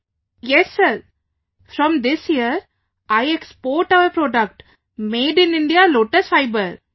Vijayashanti ji yes sir, from this year I export our product made in India Lotus fiber